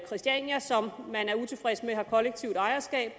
christiania som man er utilfreds med har kollektivt ejerskab